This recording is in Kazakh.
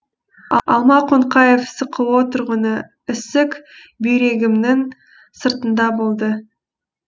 алма қонқаева сқо тұрғыны ісік бүйрегімнің сыртында болды